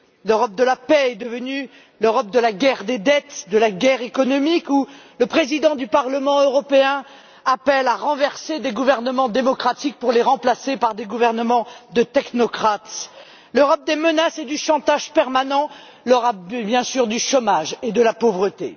L'Europe de la paix est devenue l'Europe de la guerre des dettes, de la guerre économique, où le président du Parlement européen appelle à renverser des gouvernements démocratiques pour les remplacer par des gouvernements de technocrates, l'Europe des menaces, du chantage permanent, du chômage, bien sûr, et de la pauvreté.